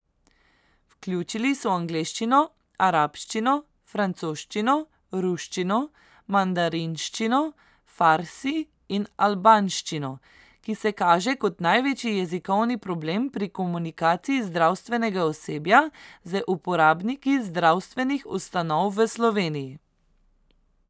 Vključili so angleščino, arabščino, francoščino, ruščino, mandarinščino, farsi in albanščino, ki se kaže kot največji jezikovni problem pri komunikaciji zdravstvenega osebja z uporabniki zdravstvenih ustanov v Sloveniji.